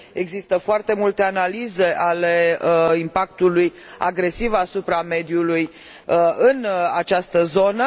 există foarte multe analize ale impactului agresiv asupra mediului în această zonă.